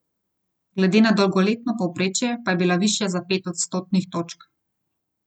Glede na dolgoletno povprečje pa je bila višja za pet odstotnih točk.